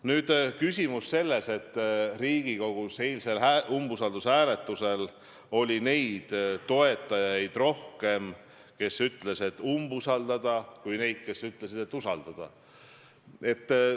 Nüüd see küsimus, et Riigikogus oli eilsel umbusaldushääletusel rohkem neid, kes ütlesid, et tuleks umbusaldada, kui neid, kes ütlesid, et tuleks usaldada.